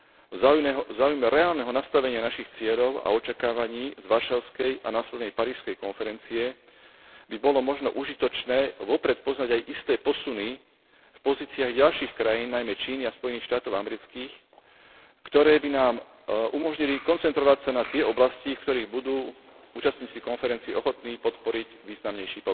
V záujme reálneho nastavenia našich cieľov a očakávaní z Varšavskej a následnej Parížskej konferencie by bolo možno užitočné vopred poznať aj isté posuny v pozíciách ďalších krajín, najmä Číny a Spojených štátov amerických, ktoré by nám umožnili koncentrovať sa na tie oblasti, v ktorých budú účastníci konferencie ochotní podporiť významnejší